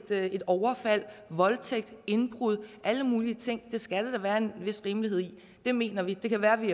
overfald voldtægt et indbrud alle mulige ting det skal der da være en vis rimelighed i det mener vi det kan være vi